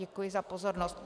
Děkuji za pozornost.